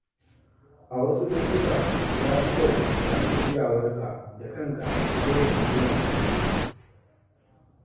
A wasu lokuta, ya fi kyau a nuna iyawarka da kanka fiye da jingina da wasu.